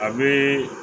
A bɛ